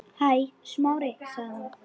Hæ, Smári- sagði hún.